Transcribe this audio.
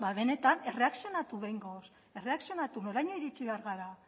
ba benetan erreakzionatu behingoz erreakzionatu noraino iritsi behar gara